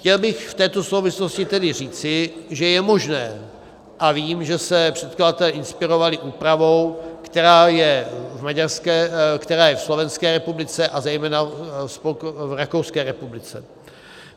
Chtěl bych v této souvislosti tedy říci, že je možné, a vím, že se předkladatelé inspirovali úpravou, která je ve Slovenské republice a zejména v Rakouské republice.